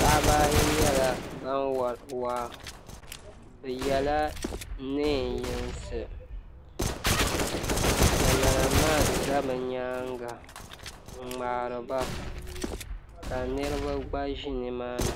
paɣaba ayi nyɛla ban wari waa bɛ yela niɛn yinsi kamaramaan za bɛ nyaanga n ŋmaariba ka niriba gba ʒi nimaani.